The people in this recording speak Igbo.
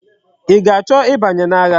I ga-acho i banye na agha?